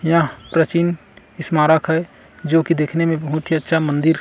यहाँ प्राचीन स्मारक है जो की दिखने में बहुत ही अच्छा मंदिर--